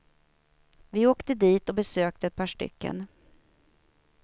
Vi åkte dit och besökte ett par stycken.